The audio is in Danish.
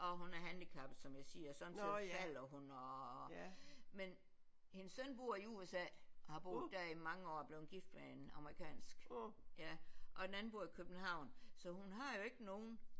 Og hun er handicappet som jeg siger sådan så falder hun og men hendes søn bor i USA og har boet der i mange år og er blevet gift med en amerikansk ja og den anden bor i København så hun har jo ikke nogen